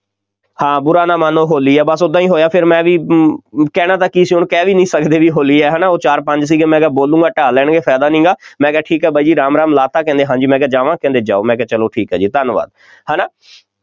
ਹਾਂ ਬੁਰਾ ਨਾ ਮਾਨੋ, ਹੋਲੀ ਹੈ, ਬਸ ਓਦਾਂ ਹੀ ਹੋਇਆ ਫੇਰ ਮੈਂ ਵੀ ਅਮ ਕਹਿਣਾ ਤਾਂ ਕੀ ਸੀ, ਹੁਣ ਕਹਿ ਵੀ ਨਹੀਂ ਸਕਦੇ ਬਈ ਹੋਲੀ ਹੈ, ਹੈ ਨਾ ਉਹ ਚਾਰ ਪੰਜ ਸੀਗੇ, ਮੈਂ ਕਿਹਾ ਬੋਲੂਗਾ ਢਾ ਲੈਣਗੇ, ਫਾਇਦਾ ਨਹੀਂ ਹੈਗਾ, ਮੈਂ ਕਿਹਾ, ਠੀਕ ਹੈ ਬਾਈ ਜੀ, ਰਾਮ ਰਾਮ, ਲਾ ਦਿੱਤਾ, ਕਹਿੰਦੇ ਹਾਂਜੀ, ਮੈਂ ਕਿਹਾ ਜਾਵਾਂ, ਕਹਿੰਦੇ ਜਾਓ, ਮੈਂ ਕਿਹਾ ਚੱਲੋ ਠੀਕ ਆ ਜੀ, ਧੰਨਵਾਦ, ਹੈ ਨਾ।